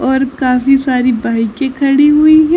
और काफी सारी बाईके खड़ी हुई हैं।